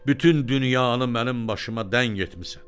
Bütün dünyanı mənim başıma dəng etmisən.